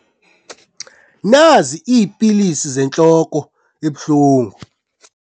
Nazi iipilisi zentloko ebuhlungu.